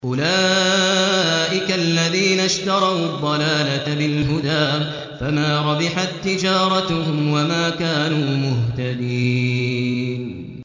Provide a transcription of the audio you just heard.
أُولَٰئِكَ الَّذِينَ اشْتَرَوُا الضَّلَالَةَ بِالْهُدَىٰ فَمَا رَبِحَت تِّجَارَتُهُمْ وَمَا كَانُوا مُهْتَدِينَ